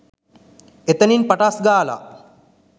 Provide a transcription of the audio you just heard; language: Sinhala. එතනින් පටස් ගාලා